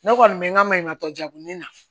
Ne kɔni bɛ n ka maɲumantɔ jɛku ni na